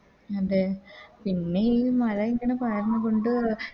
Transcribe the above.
അതെ പിന്നെയി മഴ ഇങ്ങനെ പയർന്ന് കൊണ്ട്